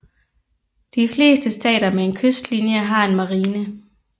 De fleste stater med en kystlinje har en marine